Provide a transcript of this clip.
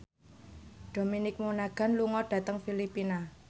Dominic Monaghan lunga dhateng Filipina